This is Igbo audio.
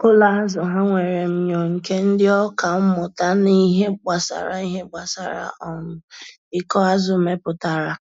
Ụlọ azụ ha nwere myọ nke ndị ọka mmụta na ihe gbasara ihe gbasara um ikọ azụ meputara